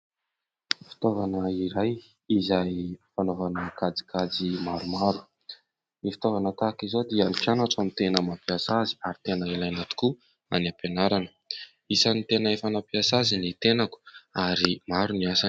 Fitaovana iray izay fanaovana kajikajy maromaro. Ny fitaovana tahaka izao dia ny mpianatra no tena mampiasa azy ary tena ilaina tokoa any ampianarana. Isan'ny tena efa nampiasa azy ny tenako ary maro ny asany.